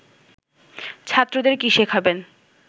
ছাত্রদের কী শেখাবেন